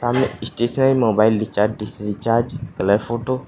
सामने stationery mobile recharge dish recharge colour photo.